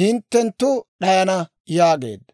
hinttenttu d'ayana» yaageedda.